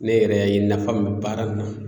Ne yɛrɛ ye nafa min bɛ baara in na